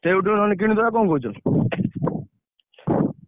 ସେଇଠୁ ନହେଲେ କିଣିଦବା କଣ କହୁଛ?